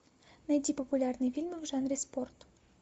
найти популярные фильмы в жанре спорт